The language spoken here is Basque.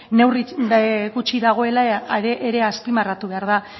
neurri gutxi dagoela ere azpimarratu behar da